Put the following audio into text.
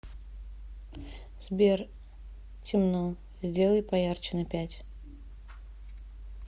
сбер темно сделай поярче на пять